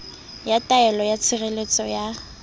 ya taelo ya tshireletso ya